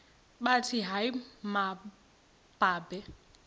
bathi hayi mababe